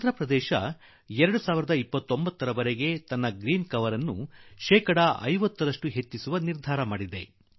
ಆಂಧ್ರ ಪ್ರದೇಶ ಕೂಡಾ 2029ರ ವೇಳೆಗೆ ಹಸಿರು ಪಟ್ಟಿಯನ್ನು ಶೇಕಡಾ 50ರಷ್ಟು ವಿಸ್ತರಿಸಲು ತೀರ್ಮಾನಿಸಿದೆ